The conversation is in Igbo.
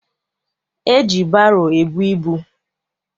E ji baro ebu ibu.